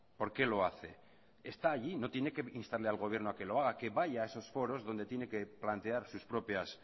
por qué lo hace está allí no tiene que instarle al gobierno a que lo haga que vaya a esos foros donde tiene que plantear sus propias